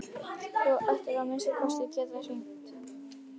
Þú hefðir nú að minnsta kosti getað hringt